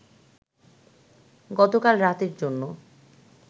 গতকাল রাতের জন্য